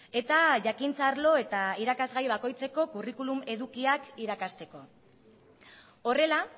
eta jakintza arlo eta irakasgai bakoitzeko kurrikulum edukiak irakasteko horrela